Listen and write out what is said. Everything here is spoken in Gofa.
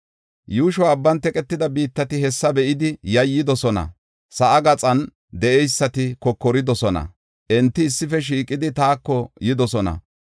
Yuushoy abban teqetida biittati, hessa be7idi yayyidosona; sa7aa gaxan de7eysati kokoridosona. Enti issife shiiqidi taako yidosona.